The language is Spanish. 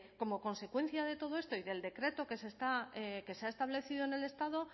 como consecuencia de todo esto y del decreto que se ha establecido en el estado